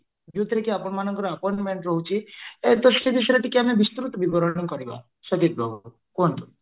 ଯୋଉଥିରେ କି ଆପଣମାନଙ୍କର appointment ରହୁଛି ତ ସେଇ ବିଷୟରେ ଟିକେ ବିସ୍ତୃତ ବିବରଣୀ କରିବା ସଦୀପ ବାବୁ କୁହନ୍ତୁ